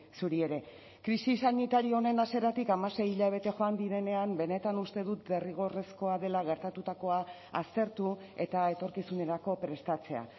zuri ere krisi sanitario honen hasieratik hamasei hilabete joan direnean benetan uste dut derrigorrezkoa dela gertatutakoa aztertu eta etorkizunerako prestatzea